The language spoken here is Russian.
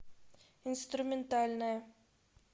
инструментальная